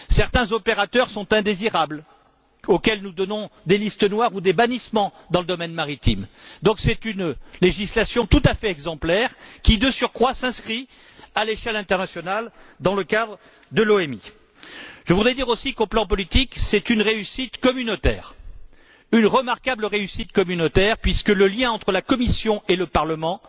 Certains opérateurs sont indésirables et font l'objet de listes noires ou de bannissements dans le domaine maritime. C'est donc une législation tout à fait exemplaire qui, de surcroît, s'inscrit à l'échelle internationale dans le cadre de l'OMI. Je voudrais dire aussi qu'au plan politique, c'est une remarquable réussite communautaire puisque le lien entre la Commission et le Parlement